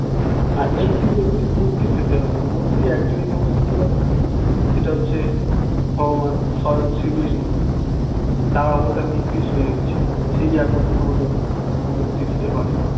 মুক্তি পেতে মুক্তি পেতে হবে মুক্তি একজনই তোমাকে দিতে পারে ভগবান স্বয়ং শ্রীবিষ্ণু তার অবতার নিয়ে কৃষ্ণ এসেছে সেই একমাত্র তোমাকে মুক্তি দিতে পারে